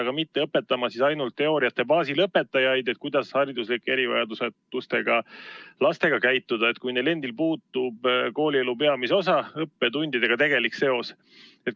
Nad ei tohiks õpetada õpetajaid ainult teooria baasil, kuidas hariduslike erivajadustega lastega käituda, kui neil endil puudub koolielu peamise osa ehk õppetundidega tegelik seos.